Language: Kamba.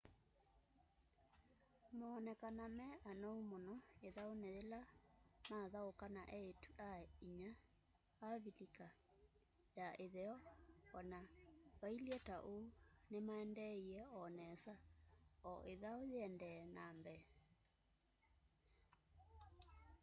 moonekanaa me anou mũno ĩthaunĩ yĩla mathaũkaa na eĩtu-a-inya avilika ya ĩtheo o na vailye ta ũu nĩmaendeeie o nesa o ĩthau yĩendee na mbee